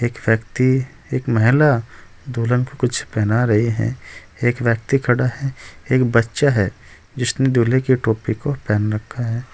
एक व्यक्ति एक महिला दुल्हन कुछ पहना रही है एक व्यक्ति खड़ा है एक बच्चा है जिसने दूल्हे के टोपी को पहन रखा है।